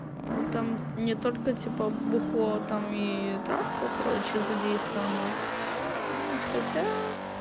он там не только типа бухло там и травка короче задействована ну хотя